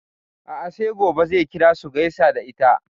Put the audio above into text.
A'a sai gobe zai kira su gaisa da ita.